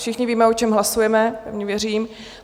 Všichni víme, o čem hlasujeme, pevně věřím.